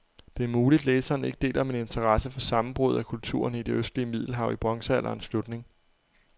Det er muligt, læseren ikke deler min interesse for sammenbruddet af kulturerne i det østlige middelhav i bronzealderens slutning.